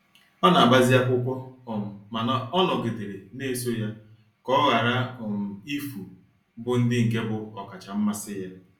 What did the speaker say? Ọ n'agbazi akwụkwọ um mana ọ nọgidere na-eso ya ka ọ ghara um ifu bu ndi nke bu okacha mmasi ya.